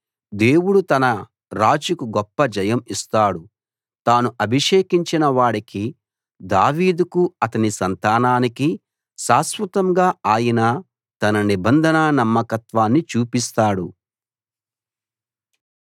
దేవుడు తన రాజుకు గొప్ప జయం ఇస్తాడు తాను అభిషేకించిన వాడికి దావీదుకు అతని సంతానానికి శాశ్వతంగా ఆయన తన నిబంధన నమ్మకత్వాన్ని చూపిస్తాడు